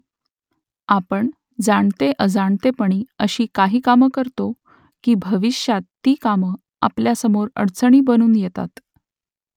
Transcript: आपण जाणते-अजाणतेपणी अशी काही कामं करतो की भविष्यात ती कामं आपल्यासमोर अडचणी बनून येतात